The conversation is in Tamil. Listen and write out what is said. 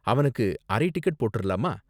அவனுக்கு அரை டிக்கெட் போட்றலாமா?